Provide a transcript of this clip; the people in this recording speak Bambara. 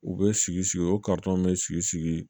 U bɛ sigi sigi o bɛ sigi